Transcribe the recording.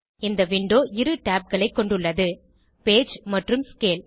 இந்த விண்டோ இரு tabகளை கொண்டுள்ளது பேஜ் மற்றும் ஸ்கேல்